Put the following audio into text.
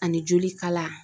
Ani joli kala